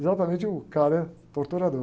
Exatamente o cara torturador.